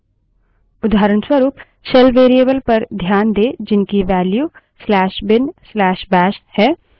terminal में type करें env verticalbar more ENV space verticalbar more